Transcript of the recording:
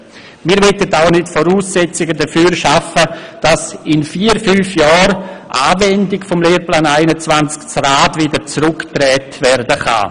Wir möchten auch nicht die Voraussetzungen dafür schaffen, dass in vier, fünf Jahren in der Anwendung des Lehrplans 21 das Rad wieder zurückdreht werden kann.